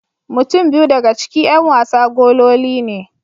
Mutum biyu daga ciki 'yan wasa gololi ne.